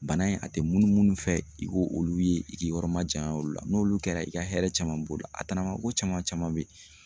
Bana in a tɛ munu munu fɛ i k'olu ye i k'i yɔrɔ majanya olu la n'olu kɛra i ka hɛrɛ caman b'o la a tanama ko caman caman bɛ yen